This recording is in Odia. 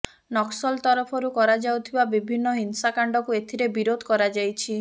ନକ୍ସଲ ତରଫରୁ କରାଯାଉଥିବା ବିଭିନ୍ନ ହିଂସାକାଣ୍ଡକୁ ଏଥିରେ ବିରୋଧ କରାଯାଇଛି